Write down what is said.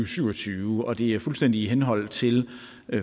syv og tyve og det er fuldstændig i henhold til